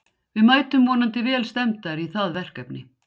Við mætum vonandi vel stemmdar í það verkefni.